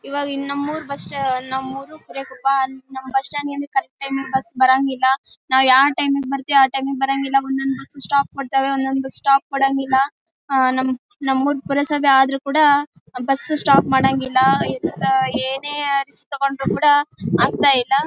ಇವಗಿನ್ ನಮ ಊರು ಬಸ್ಟ್ ನಮ್ಮೂರು ಬಿರೇಕೊಪ್ಪ ನಮ್ ಬಸ್ ಸ್ಟಾಂಡ್ ಅಲ್ಲಿ ಕರೆಕ್ಟ್ ಟೈಮ್ ಗೆ ಬಸ್ ಬರಂಗಿಲ್ಲಾ ನಾವ್ ಯಾವ್ ಟೈಮ್ ಗ್ ಬರ್ತಿವಿ ಆ ಟೈಮ್ ಗ್ ಬರಂಗಿಲ್ಲಾ ಒಂದೊಂದ್ ಬಸ್ ಸ್ಟಾಪ್ ಕೊಡ್ತಾವೆ ಒಂದೊಂದ್ ಬಸ್ ಸ್ಟಾಪ್ ಕೋಡಂಗಿಲ್ಲಾ ಅಹ್ ನಮ್ ಉರ್ ನಮ್ ಉರ್ ಪುರ ಸಭೆ ಆದ್ರೂ ಕೂಡ ಬಸ್ ಸ್ಟಾಪ್ ಮಾಡಂಗಿಲ್ಲಾ ಇದನ್ನ ಏನೇ ಆಕ್ಷನ್ ತಗೊಂಡ್ರು ಕೂಡ ಆಗ್ತಾ ಇಲ್ಲಾ